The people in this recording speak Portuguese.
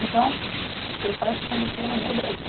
Então, seus pais se conheceram no Brasil.